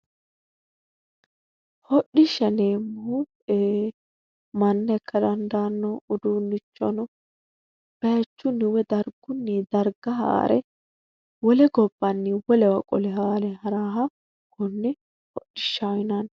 Hodhishsha yineemmohu manna ikka dandaanno uduunnicho baychunni woy dargunni darga haare wole gobbanni wole gobba wolewa qole haare haraha konne hodhishaho yinanni.